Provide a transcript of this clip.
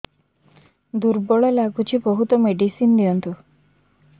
ଦୁର୍ବଳ ଲାଗୁଚି ବହୁତ ମେଡିସିନ ଦିଅନ୍ତୁ